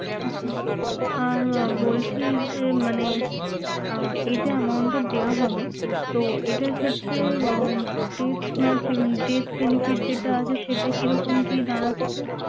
আচ্ছা! আর আহ বলছি যে মানে আহ এই যে amount টা দেয়া হবে, তো এটার ক্ষেত্রে আহ debt match debt benefit যেটা আছে সেটা কিরকম কি দাঁড়াচ্ছে?